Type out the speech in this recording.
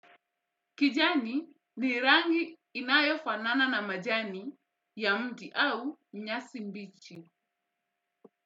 Kijani ni rangi inayofanana na majani ya mti au nyasi mbichi.